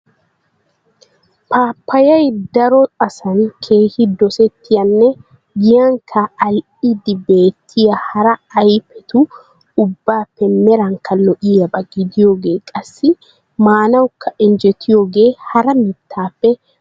Paapayay daro asan keehi dosettiyaanne giyankka al'idi beettiya hara ayffettu ubbappe meranka lo'iyaba gidiyooge qassi maanawka injjetiyooge hara mittappe a dummayene?